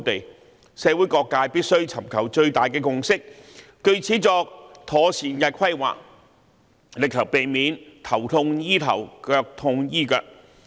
就此，社會各界必須尋求最大的共識，作妥善規劃，力求避免"頭痛醫頭，腳痛醫腳"。